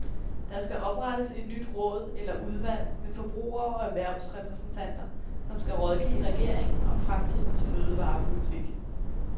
Der skal oprettes et nyt råd eller udvalg med forbruger- og erhvervsrepræsentanter, som skal rådgive regeringen om fremtidens fødevarepolitik.